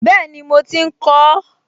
Bẹ́ẹ̀ni mo ti ń kọ ọ́